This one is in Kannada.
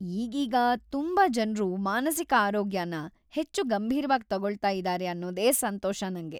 ಈಗೀಗ ತುಂಬಾ ಜನ್ರು ಮಾನಸಿಕ ಆರೋಗ್ಯನ ಹೆಚ್ಚು ಗಂಭೀರ್ವಾಗ್ ತಗೊಳ್ತಾ ಇದಾರೆ ಅನ್ನೋದೇ ಸಂತೋಷ ನಂಗೆ.